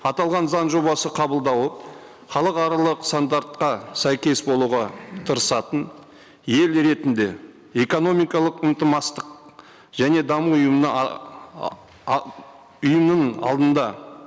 аталған заң жобасын қабылдауы халықаралық стандартқа сәйкес болуға тырысатын ел ретінде экономикалық және даму ұйымына ұйымның алдында